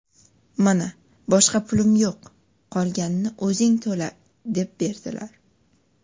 Mana boshqa pulim yo‘q, qolganini o‘zing to‘la deb berdilar.